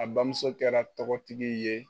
A bamuso kɛra tɔgɔtigi ye